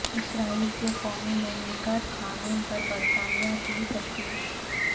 اسرائیل کے قومی مملکت قانون پر برطانیہ کی تشویش